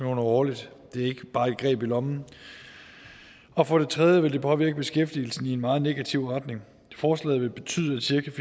årligt det er ikke bare et greb i lommen og for det tredje vil det påvirke beskæftigelsen i en meget negativ retning forslaget vil betyde at cirka